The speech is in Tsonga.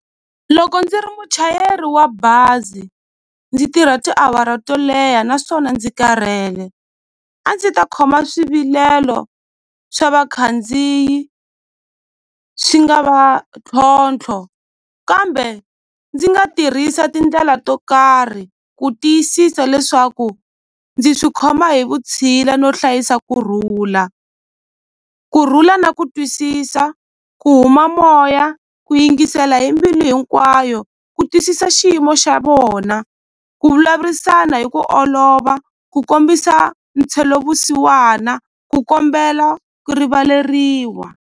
Loko ndzi ri muchayeri wa bazi ndzi tirha tiawara to leha naswona ndzi karhele a ndzi ta khoma swivilelo swa vakhandziyi swi nga va ntlhontlho kambe ndzi nga tirhisa tindlela to karhi ku tiyisisa leswaku ndzi swi khoma hi vutshila no hlayisa kurhula kurhula na ku twisisa ku huma moya ku yingisela hi mbilu hinkwayo ku twisisa xiyimo xa vona ku vulavurisana hi ku olova ku kombisa vusiwana ku kombela ku rivaleriwa.